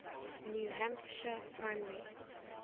new hampshire primary